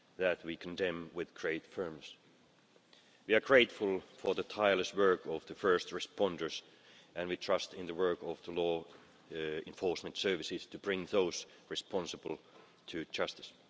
This we condemn with great firmness. We are grateful for the tireless work of the first responders, and we trust in the work of the law enforcement services to bring those responsible to justice.